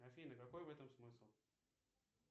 афина какой в этом смысл